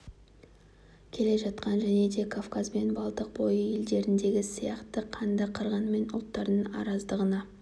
келе жатқан және де кавказ бен балтық бойы елдеріндегі сияқты қанды қырғын мен ұлттардың араздығына